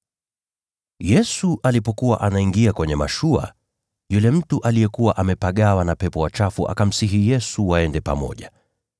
Yesu alipokuwa anaingia kwenye mashua, yule mtu aliyekuwa amepagawa na pepo wachafu akamsihi Yesu waende pamoja.